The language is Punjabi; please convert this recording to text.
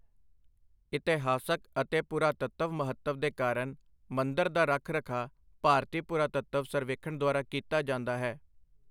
ਇਤਿਹਾਸਕ ਅਤੇ ਪੁਰਾਤੱਤਵ ਮਹੱਤਵ ਦੇ ਕਾਰਨ, ਮੰਦਰ ਦਾ ਰੱਖ ਰਖਾਅ ਭਾਰਤੀ ਪੁਰਾਤੱਤਵ ਸਰਵੇਖਣ ਦੁਆਰਾ ਕੀਤਾ ਜਾਂਦਾ ਹੈ।